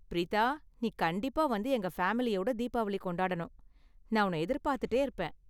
பிரீதா, நீ கண்டிப்பா வந்து எங்க ஃபேமிலியோட தீபாவளி கொண்டாடனும், நான் உன்ன எதிர்பார்த்துட்டே இருப்பேன்.